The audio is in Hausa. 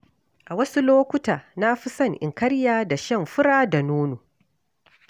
A wasu lokuta, na fi so in karya da shan fura da nono.